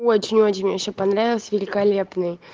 очень очень мне все понравилось великолепный